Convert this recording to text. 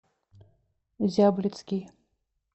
зяблицкий